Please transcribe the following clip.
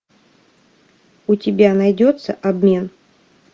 у тебя найдется обмен